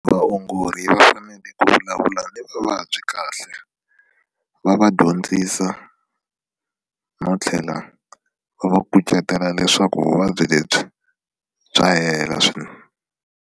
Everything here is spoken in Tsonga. Vaongori va fanele ku vulavula ni vavabyi kahle va va dyondzisa no tlhela va va kucetela leswaku vuvabyi lebyi bya hela .